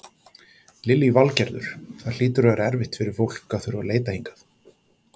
Lillý Valgerður: Það hlýtur að vera erfitt fyrir fólk að þurfa að leita hingað?